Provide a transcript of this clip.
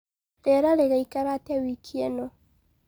rĩera rĩgaĩkara atĩa wiki ino